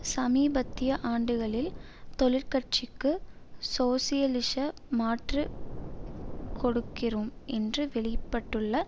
சமீபத்திய ஆண்டுகளில் தொழிற்கட்சிக்கு சோசியலிச மாற்று கொடுக்கிறோம் என்று வெளிப்பட்டுள்ள